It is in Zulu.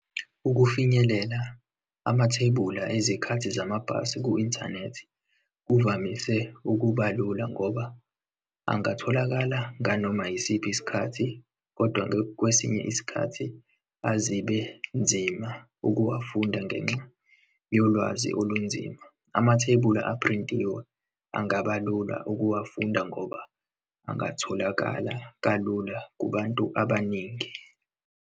Ukufinyelela amathebula ezikhathi zamabhasi ku-inthanethi kuvamise ukuba lula ngoba angatholakala nganoma yisiphi isikhathi. Kodwa-ke kwesinye isikhathi azibe nzima ukuwafunda ngenxa yolwazi olunzima. Amathebula uphrintiwe angaba lula ukuwafunda ngoba angatholakala kalula kubantu abaningi.